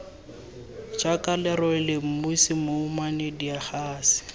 jaaka lerole mosi mouwane digase